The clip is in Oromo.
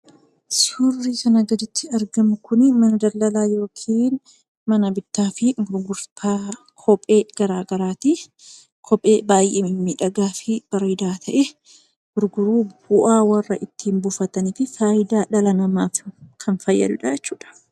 Suurri kanaa gaditti argamu kun mana daldalaa yookiin mana bittaa fi gurgurtaa kophee garaagaraati. Kophee baay'ee bareedaa fi miidhagaa ta'e gurguruun bu'aa warra ittiin buufataniif faayidaa dhala namaaf kan fayyadudha jechuudha.